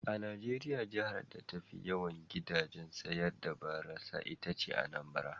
A Najeriya jihar da tafi yawan gidajen sayar da barasa ita ce Anambra.